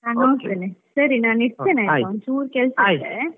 ನಾನ್ ಹೋಗ್ತೇನೆ, ಸರಿ ನಾನ್ ಇಡ್ತೇನೆ ಆಯ್ತಾ ಒಂಚೂರು ಕೆಲ್ಸ ಇದೆ.